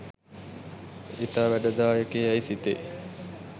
ඉතා වැඩදායක යැයි සිතෙයි.